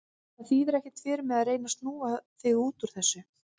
Það þýðir ekkert fyrir þig að reyna að snúa þig út úr þessu.